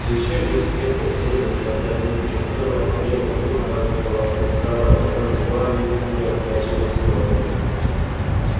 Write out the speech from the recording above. ещё не успев как следует сообразить в чем дело белый клык дважды полоснул старого пса зубами и отскочил в сторону